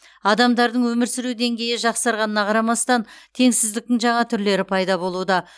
адамдардың өмір сүру деңгейі жақсарғанына қарамастан теңсіздіктің жаңа түрлері пайда болуда